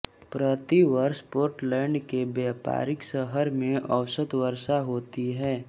प्रति वर्ष पोर्टलैंड के व्यापारिक शहर में औसत वर्षा होती है